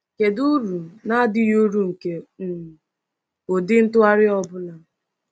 Kedu uru na adịghị uru nke um ụdị ntụgharị ọ bụla?